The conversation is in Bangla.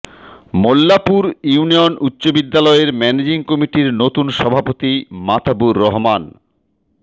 মোল্লাপুর ইউনিয়ন উচ্চ বিদ্যালয়ের ম্যানেজিং কমিটির নতুন সভাপতি মাতাবুর রহমান